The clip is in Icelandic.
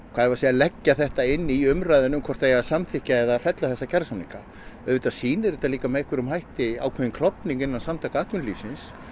leggja þetta inn í umræðuna hvort það eigi að samþykkja eða fella þessa kjarasamninga auðvitað sýnir þetta líka með ákveðnum hætti ákveðinn klofning innan Samtaka atvinnulífsins